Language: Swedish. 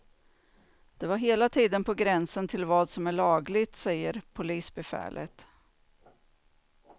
Det var hela tiden på gränsen till vad som är lagligt, säger polisbefälet.